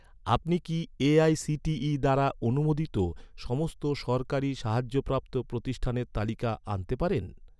আপনি কি, এ.আই.সি.টি.ই দ্বারা অনুমোদিত, সমস্ত সরকারি সাহায্যপ্রাপ্ত প্রতিষ্ঠানের তালিকা আনতে পারেন?